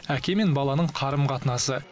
әке мен баланың қарым қатынасы